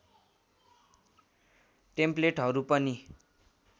टेम्प्लेटहरू पनि